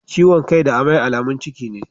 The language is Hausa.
Ciwon kai da amai alamun ciki ne.